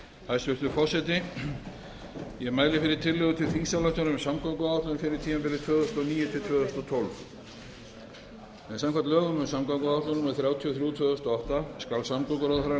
tillögu til þingsályktunar um samgönguáætlun fyrir tímabilið tvö þúsund og níu til tvö þúsund og tólf samkvæmt lögum um samgönguáætlun númer þrjátíu og þrjú tvö þúsund og átta skal samgönguráðherra